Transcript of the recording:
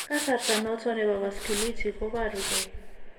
Kasarta noton nebo vasculitic koboru gee